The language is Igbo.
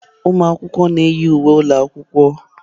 Ụmụ akwụkwọ na-eyi uwe ụlọ akwụkwọ.